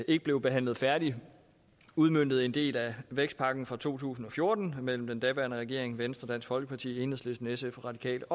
ikke blev behandlet færdigt udmøntede en del af vækstpakken fra to tusind og fjorten mellem den daværende regering venstre dansk folkeparti enhedslisten sf radikale